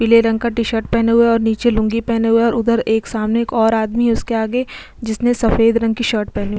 पिले रंग का टी शर्ट पहने हुए हैं और नीचे लुंगी पहने हुये है और उधर एक सामने एक और आदमी है उसके आगे जिसने सफ़ेद रंग की शर्ट पहनी हुई --